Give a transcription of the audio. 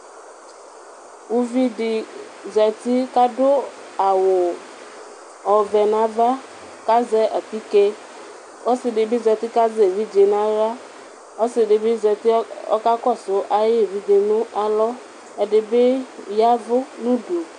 Ʋvidi zati kʋ adʋ awʋ ɔvɛ nʋ ava, azɛ atike, ɔsidibi zati kʋ azɛ evidze nʋ aɣla Ɔsidibi zati ɔkakɔsʋ ayʋ evidze ayʋ alɔ, ɛdibi ya ɛvʋ nʋ ʋdʋ